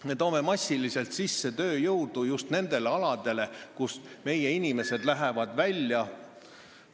Me toome massiliselt sisse tööjõudu just nendele tegevusaladele, kust meie inimesed lähevad ära ...